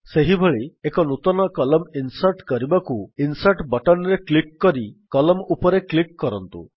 ସେହିଭଳି ଏକ ନୂତନ କଲମ୍ନ ଇନ୍ସର୍ଟ୍ କରିବାକୁ ଇନସର୍ଟ ବଟନ୍ ରେ କ୍ଲିକ୍ କରି Columnଉପରେ କ୍ଲିକ୍ କରନ୍ତୁ